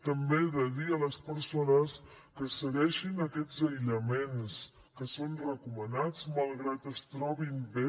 també he de dir a les persones que segueixin aquests aïllaments que són recomanats malgrat que es trobin bé